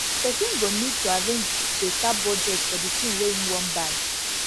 person go need need to arrange better budget for di thing wey im wan buy